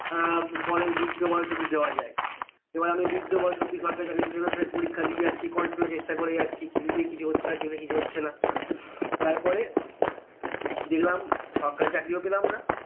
আহ বলে বৃদ্ধ বয়সে দেওয়া যায় এবার আমি বৃদ্ধ বয়স অবধি সরকারি চাকরির জন্য tet পরীক্ষা দিয়ে যাচ্ছি continue চেষ্টা করে যাচ্ছি কিছুতেই কিছু হচ্ছে না কিছুতেই কিছু হচ্ছে না উম তারপরে দেখলাম সরকারি চাকরি ও পেলাম না